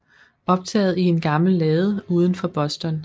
Optaget i en gammel lade uden for Boston